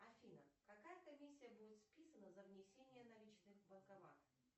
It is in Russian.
афина какая комиссия будет списана за внесение наличных в банкомат